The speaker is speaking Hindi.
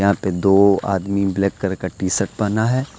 ऊपर दो आदमी ब्लैक कलर टी_शर्ट पहना है।